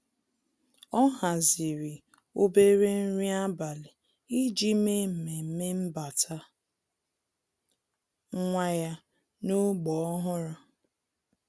Ọ́ hàzị̀rị̀ obere nrí ábàlị̀ iji mèé mmemme mbata nwa ya n’ógbè ọ́hụ́rụ́.